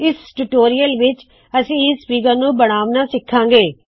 ਇਸ ਟਯੂਟੋਰਿਯਲ ਵਿੱਚ ਅਸੀ ਇਸ ਫ਼ੀਗਰ ਨੂ ਬਣਾਉਣਾ ਸਿੱਖਾ ਗੇ